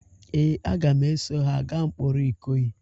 Ee, a ga m eso ha gaa mkpọrọ ikoyi